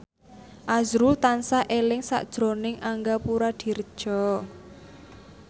azrul tansah eling sakjroning Angga Puradiredja